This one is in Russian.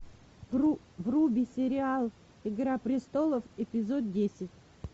вруби сериал игра престолов эпизод десять